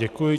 Děkuji.